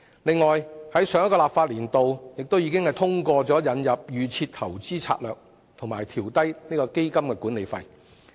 此外，在上一個立法年度，立法會亦已通過引入"預設投資策略"及調低基金管理費。